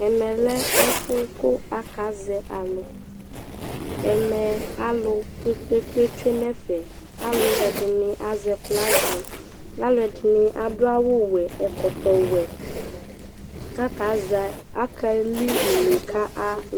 ɛmɛ akazɛalʊ alʊ kpékpé tsʊé nɛfɛ alʊɛdɩnɩ azɛ flăga alɛdɩnɩ adʊawʊ wɛ ɛkɔtɔ wɛ kakéli ʊné kalʊ